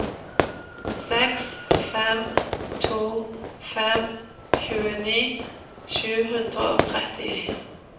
seks fem to fem tjueni sju hundre og tretti